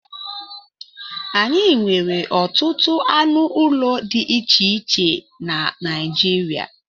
Anyị nwere ọtụtụ anụ ụlọ dị iche iche na Naịjirịa